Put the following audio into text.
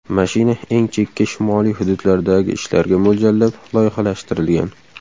Mashina eng chekka shimoliy hududlardagi ishlarga mo‘ljallab loyihalashtirilgan.